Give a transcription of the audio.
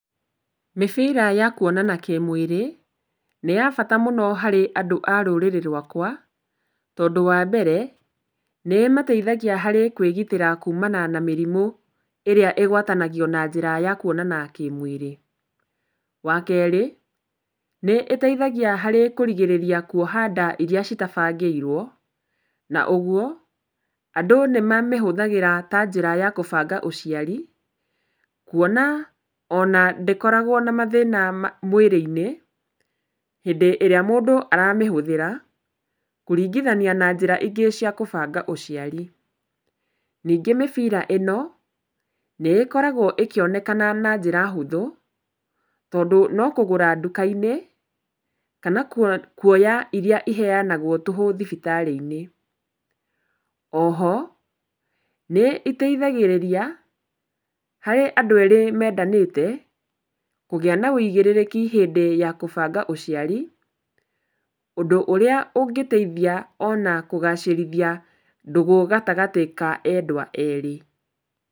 Mĩbira ya kuonana kĩmwĩrĩ, nĩ ya bata mũno harĩ andũ a rũrĩrĩ rwakwa, tondũ wa mbere, nĩimateithagia harĩ kwĩgitĩra kumana na mĩrimũ ĩrĩa ĩgwatanagio na njĩra ya kwonana kĩmwĩrĩ. Wa kerĩ, nĩĩteithagia harĩ kũrigĩrĩria kuoha nda iria citabangĩirwo, na ũguo andũ nĩmamĩhũthĩraga ta njĩra ya kũbanga ũciari, kuona ona ndĩkoragwo na mathĩna ma, mwĩrĩ-inĩ hĩndĩ ĩrĩa mũndũ aramĩhũthĩra, kũringithania na njĩra ingĩ cia kũbanga ũciari. Ningĩ mĩbira ĩno nĩĩkoragwo ĩkĩonekana na njĩra hũthũ, tondũ no kũgũra nduka-inĩ kana kuo, kuoya iria iheanagwo tũhũ thibitarĩ-inĩ. O ho nĩiteithagĩrĩria harĩ andũ erĩ mendanĩte kũgĩa na wũigĩrĩrĩki hĩndĩ ya kũbanga ũciari, ũndũ ũrĩa ũngĩteithia ona kũgacĩrithia ndũgũ gatagatĩ ka endwa erĩ.